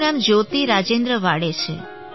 મારું નામ જ્યોતિ રાજેન્દ્ર વાડે છે